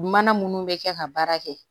Mana munnu bɛ kɛ ka baara kɛ